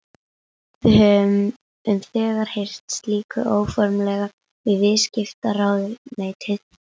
Við höfum þegar hreyft slíku óformlega við viðskiptaráðuneytið.